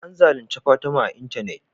An zalunci Fatima a y intanet